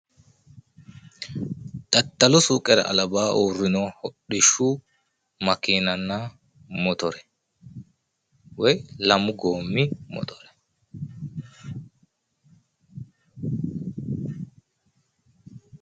Daddalu suuqera albaanni uurrino hodhishshu makeenanna motore woy lamu goommi motore.